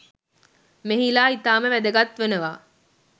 මෙහිලා ඉතාම වැදගත් වනවා.